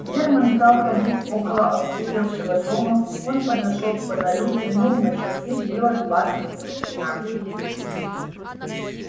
германн стал ходить около опустевшего дома он подошёл к фонарю взглянул на часы было двадцать минут двенадцатого